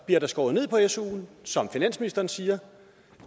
bliver der skåret ned på suen som finansministeren siger